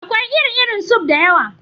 Akwai iri-irin suf (soup) da yawa.